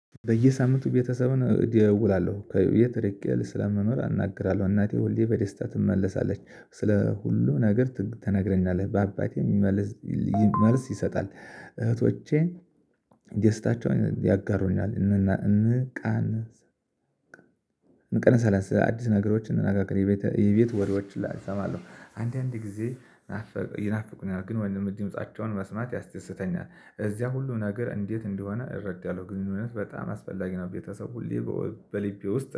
በየሳምንቱ ቤተሰብን እደውላለሁ የት ድርጊት ስለምኖር አናግራለሁ እናቴ ሁሌ በደስታ ትመለሳለች ስለ ሁሉ ነገር ተነግረኛለህ በአባቴ መልስ። መልስ ይሰጣል እህቶቼ ዴስታቸውን ያጋሩኛል እንቃን። እንቀለሰለስ አዲስ ነገሮችን እናጋገር የቤት ወሬዎችን ሁላ እሰማለሁ። አንዳንዴ ጊዜ ይናፍቁኛል ግን ወይም ድምጻአቸውን መስማት ያስደስተኛል። እዚያ ሁሉን ነገር እንዴት እንደሆነ እረዳለሁ። ግንኙነት በጣም አስፈላጊ ነው ቤተሰብ ሁሌ በልቤ ውስጥ